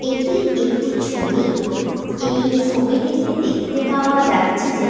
এটি একটি ছবি এই ছবিটিতে দেখতে পাওয়া যাচ্ছে যে --